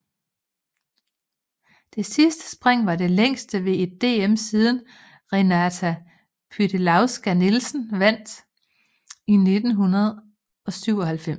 Det sidste spring var det længste ved et DM siden Renata Pytelewska Nielsen vandt i 1997